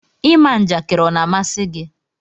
ịma njakiri ọ na amasi gi?